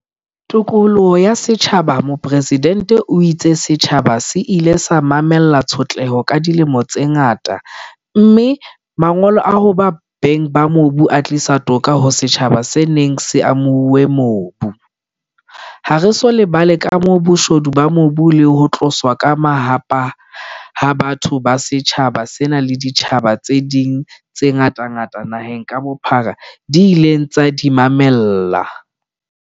Tokoloho ya setjhabaMopresidente o itse setjhaba se ile sa mamella tshotleho ka dilemo tse ngata mme mangolo a hoba beng ba mobu a tlisa toka ho setjhaba se neng se amohuwe mobu. Ha re so lebale kamoho, boshodu ba mobu le ho tloswa ka mahahapa ha batho ba setjhaba sena le ditjhaba tse ding tse ngatangata naheng ka bophara di ileng tsa di mamella.